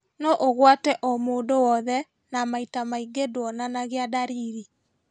Noũgwate o mũndũ wothe, na maita maingĩ nduonanagia ndariri